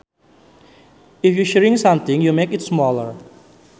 If you shrink something you make it smaller